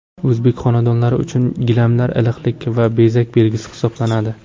O‘zbek xonadonlari uchun gilamlar iliqlik va bezak belgisi hisoblanadi.